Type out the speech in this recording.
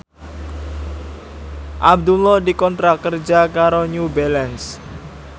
Abdullah dikontrak kerja karo New Balance